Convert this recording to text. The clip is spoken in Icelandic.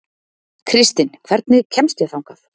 Kristinn, hvernig kemst ég þangað?